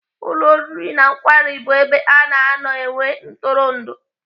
Ụlọ oriri na nkwari bụ ebe ana anọ enwe ntụrụndụ.